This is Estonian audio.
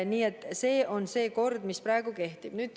Nii et see on kord, mis praegu kehtib.